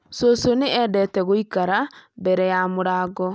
cũcũ nĩ endete gũikara mbere ya mũrango